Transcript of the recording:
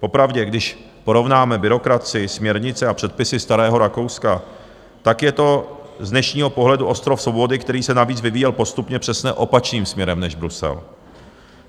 Popravdě, když porovnáme byrokracii, směrnice a předpisy starého Rakouska, tak je to z dnešního pohledu ostrov svobody, který se navíc vyvíjel postupně přesně opačným směrem než Brusel.